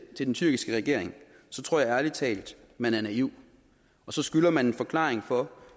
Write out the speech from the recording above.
til den tyrkiske regering så tror jeg ærlig talt man er naiv og så skylder man en forklaring på